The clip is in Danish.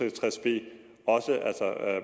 og tres b også